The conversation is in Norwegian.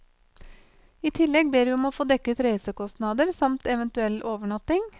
I tillegg ber vi om å få dekket reisekostnader, samt eventuell overnatting.